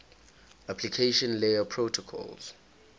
application layer protocols